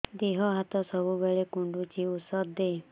ଦିହ ହାତ ସବୁବେଳେ କୁଣ୍ଡୁଚି ଉଷ୍ଧ ଦେ